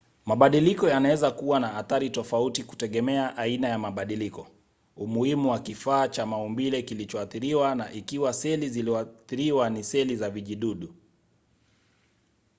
mabadiliko yanaweza kuwa na athari tofauti kutegemea aina ya mabadiliko umuhimu wa kifaa cha maumbile kilichoathiriwa na ikiwa seli zilizoathiriwa ni seli za vijidudu